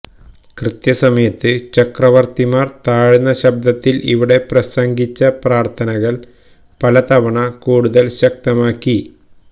കൃത്യസമയത്ത് ചക്രവർത്തിമാർ താഴ്ന്ന ശബ്ദത്തിൽ ഇവിടെ പ്രസംഗിച്ച പ്രാർഥനകൾ പല തവണ കൂടുതൽ ശക്തമാക്കി